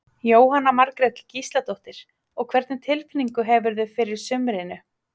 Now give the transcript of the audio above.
Jóhanna Margrét Gísladóttir: Og hvernig tilfinningu hefurðu fyrir sumrinu?